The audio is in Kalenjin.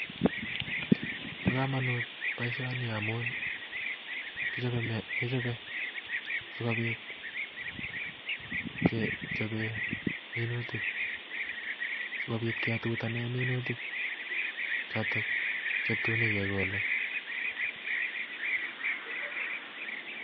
Bo komonut boishoni ngamun kichobe sikobiit kechoben minutia, sikobiit ketutanen minutik chotok chetun kigolee